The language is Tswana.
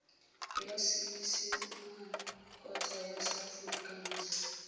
ya seesimane kgotsa ya seaforikanse